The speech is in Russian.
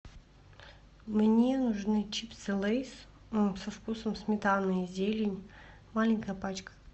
мне нужны чипсы лейс со вкусом сметаны и зелень маленькая пачка